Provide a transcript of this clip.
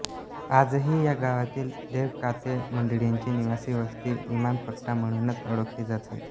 आजही या गावातील देवकाते मंडळींची निवासी वस्ती इनामपट्टा म्हणूणच ओळखली जाते